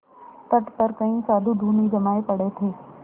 तट पर कई साधु धूनी जमाये पड़े थे